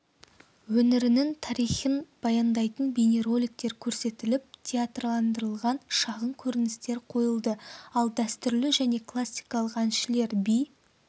өңірінің тарихын баяндайтын бейнероликтер көрсетіліп театрландырылған шағын көріністер қойылды ал дәстүрлі және классикалық әншілер би